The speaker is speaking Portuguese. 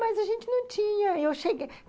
Mas a gente não tinha. Eu cheguei